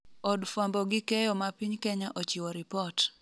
od fwambo gi keyo ma piny Kenya ochiwo ripot